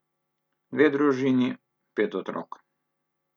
Dve družini, pet otrok.